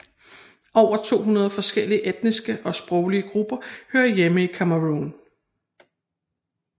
Over 200 forskellige etniske og sproglige grupper hører hjemme i Cameroun